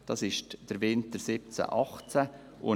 Diese Zahl bezieht sich auf den Winter 2017/18.